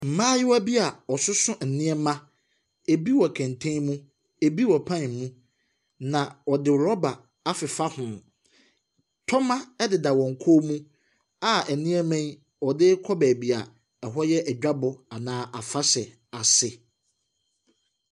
Mmaayewa bi a wɔsoso nneɛma, ɛbi wɔ kɛntɛn mu, ɛbi wɔ pan mu, na wɔde rɔba afefa ho. Tɔma ɛdeda wɔn kɔn mu a nneɛma yi wɔde rekɔ beebi a ɛhɔ yɛ adwabɔ anaa afahyɛ ase.